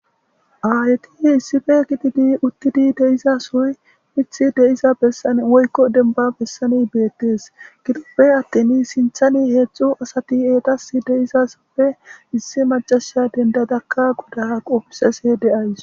Aayeti issife gididi uttidi de7iza soy mithi de7iza bessan woykko denbba bessani beettes. Gidoppe attin sinthani heedzdzu asati eetas de7izasoppe issi macasha dendadakka goda qofisese de7aws.